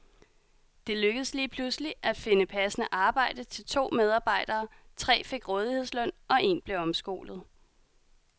Det lykkedes lige pludselig at finde passende arbejde til to medarbejdere, tre fik rådighedsløn og en blev omskolet.